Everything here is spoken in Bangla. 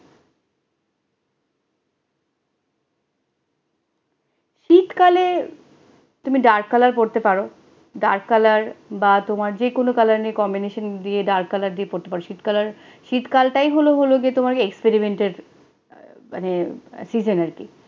শীতকালে তুমি dark colour পোড়তে পারো dark colour বা তোমার যে কোন colour combination দিয়ে dark colour দিয়ে পোড়তে পোড়তে পারো, শীতকালের শীতকালটাই হলো হলো গিয়ে তোমাকে experiment মানে